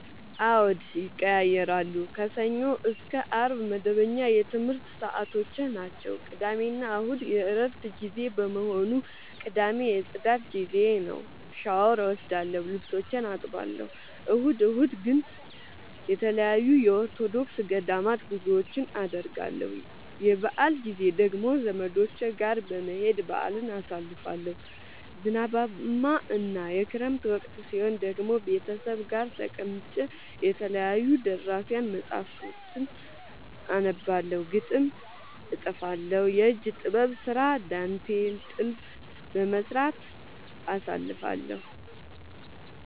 አዎድ ይቀየያራሉ። ከሰኞ እስከ አርብ መደበኛ የትምረት ሰዓቶቼናቸው ቅዳሜና እሁድ የእረፍት ጊዜ በመሆኑ። ቅዳሜ የፅዳት ጊዜዬ ነው። ሻውር እወስዳለሁ ልብሶቼን አጥባለሁ። እሁድ እሁድ ግን ተለያዩ የኦርቶዶክስ ገዳማት ጉዞወችን አደርገለሁ። የበአል ጊዜ ደግሞ ዘመዶቼ ጋር በመሄድ በአልን አሳልፋለሁ። ዝናባማ እና የክረምት ወቅት ሲሆን ደግሞ ቤተሰብ ጋር ተቀምጬ የተለያዩ ደራሲያን መፀሀፍቶችን አነባለሁ፤ ግጥም እጥፋለሁ፤ የእጅ ጥበብ ስራ ዳንቴል ጥልፍ በመስራት አሳልፍለሁ።